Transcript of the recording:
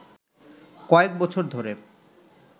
কয়েক বছর ধরে